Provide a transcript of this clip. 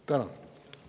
Tänan!